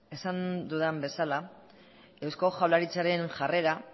esan dudan bezala eusko jaurlaritzaren jarrera